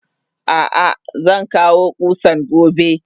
Ah ah zankawo kusan gobe.